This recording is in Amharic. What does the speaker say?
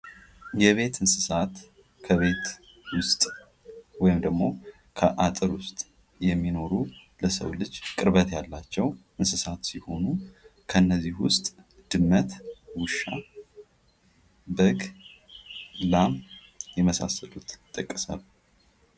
የቤት እንስሳት ከቤት ውስጥ ወይም ደግሞ ከአጥር ውስጥ የሚኖሩ ለሰው ልጅ ቅርበት ያላቸው እንስሳት ሲሆኑ ከእነዚህ ውስጥ ድመት፤ ውሻ፤ በግ፥ ላም የመሳሰሉት ይጠቀሳሉ።